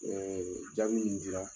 Ɛɛ jabi ninnu di la